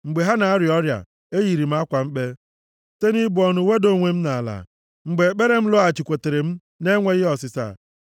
Mgbe ha na-arịa ọrịa, eyiri m akwa mkpe, site na ibu ọnụ weda onwe m nʼala. Mgbe ekpere m lọghachikwutere m na-enweghị ọsịsa,